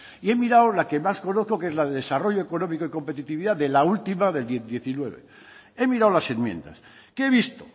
y he mirado la que más conozco que es la de desarrollo económico y competitividad de la última del diecinueve he mirado las enmiendas qué he visto